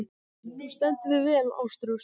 Þú stendur þig vel, Ástrós!